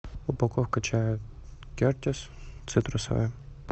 упаковка чая кертис цитрусовая